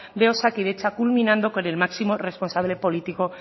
de osakidetza culminando con el máximo responsable político